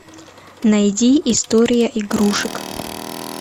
найди история игрушек